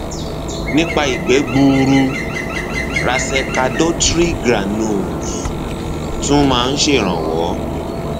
nípa ìgbẹ gbuuru racecadotril granules tún máa ń ṣèrànwọ